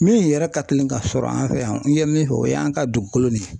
Min yɛrɛ ka teli ka sɔrɔ an fɛ yan n ye min fɔ o y'an ka dugukolo de